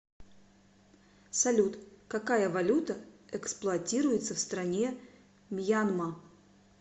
салют какая валюта эксплуатируется в стране мьянма